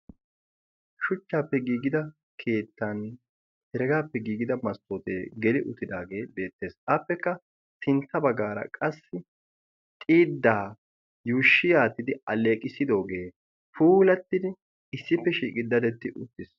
shuchchaappe giigida keettan heregaappe giigida masttootee geli uttidaagee deettees xaappekka sintta baggaara qassi xiiddaa yuushshi aattidi alleeqissidoogee puulattidi issippe shiiqi dadetti uttiis